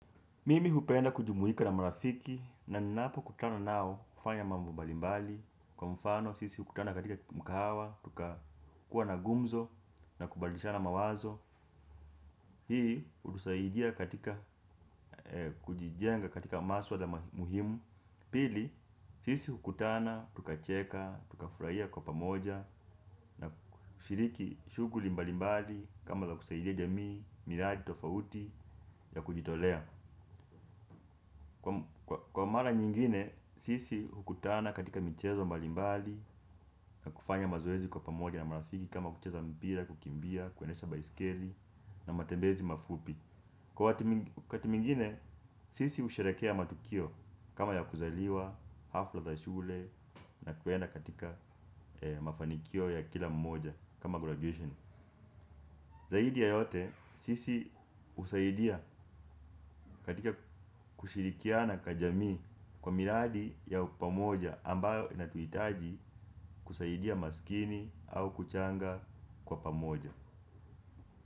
Mimi hupenda kujumuika na marafiki na ninapo kutana nao hufanya mambo mbalimbali. Kwa mfano, sisi hukutana katika mkahawa, tukakuwa na gumzo na kubadilishana mawazo. Hii, hutusaidia katika kujijenga katika maswala muhimu. Pili, sisi hukutana, tukacheka, tukafurahia kwa pamoja na kushiriki shughuli mbalimbali kama za kusaidia jamii, miradi, tofauti ya kujitolea. Kwa mara nyingine, sisi hukutana katika michezo mbalimbali, na kufanya mazoezi kwa pamoja na marafiki kama kucheza mpira, kukimbia, kuendesha baiskeli na matembezi mafupi. Kwa wakati mwingine, sisi husherehekea matukio kama ya kuzaliwa, hafla za shule na kuenda katika mafanikio ya kila mmoja kama graduation. Zaidi ya yote sisi husaidia katika kushirikiana kwa jamii kwa miradi ya pamoja ambayo inatuhitaji kusaidia masikini au kuchanga kwa pamoja.